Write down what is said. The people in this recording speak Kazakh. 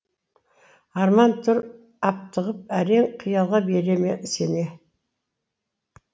арман тұр аптығып әрең қиялға бере ме сене